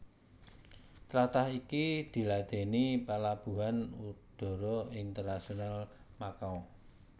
Tlatah iki diladèni Palabuhan Udara Internasional Makau